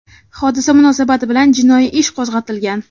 Hodisa munosabati bilan jinoiy ish qo‘zg‘atilgan.